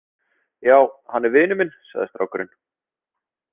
Já, hann er vinur minn, sagði strákurinn.